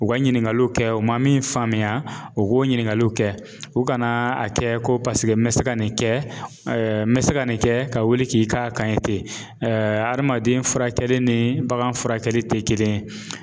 U ka ɲininkaliw kɛ u man min faamuya o k'o ɲininkaliw kɛ u kana a kɛ ko paseke n bɛ se ka nin kɛ n bɛ se ka nin kɛ ka wuli k'i ka kan ye ten adamaden furakɛli ni bagan furakɛli tɛ kelen ye.